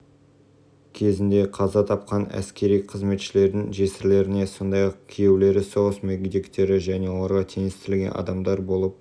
кезінде қаза тапқан әскери қызметшілердің жесірлеріне сондай-ақ күйеулері соғыс мүгедектері және оларға теңестірілген адамдар болып